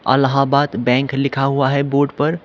Allahabad bank लिखा हुआ है बॉर्डर पर।